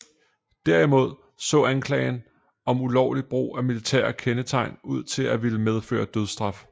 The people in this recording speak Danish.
Derimod så anklagen om ulovlig brug af militære kendetegn ud til at ville medføre dødsstraf